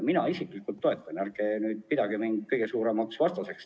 Mina isiklikult toetan teie ettepanekut, nii et ärge pidage mind kõige suuremaks vastaseks.